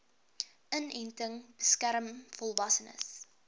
inenting beskerm volwassenes